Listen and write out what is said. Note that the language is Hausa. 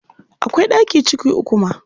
Akwai ɗaki ciki uku ma.